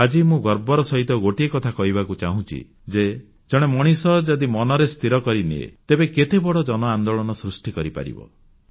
ଆଜି ମୁଁ ଗର୍ବର ସହିତ ଗୋଟିଏ କଥା କହିବାକୁ ଚାହୁଁଛି ଯେ ଜଣେ ମଣିଷ ଯଦି ମନରେ ସ୍ଥିର କରିନିଏ ତେବେ କେତେ ବଡ଼ ଜନ ଆନ୍ଦୋଳନ ସୃଷ୍ଟି କରିପାରିବ